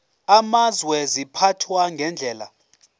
amazwe ziphathwa ngendlela